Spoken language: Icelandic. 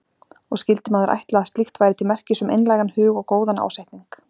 Og skyldi maður ætla að slíkt væri til merkis um einlægan hug og góðan ásetning.